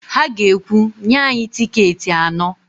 Ha ga-ekwu, "nye anyị tịketị anọ"!